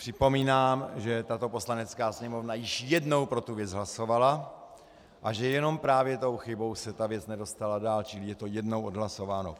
Připomínám, že tato Poslanecká sněmovna již jednou pro tu věc hlasovala a že jenom právě tou chybou se ta věc nedostala dál, čili je to jednou odhlasováno.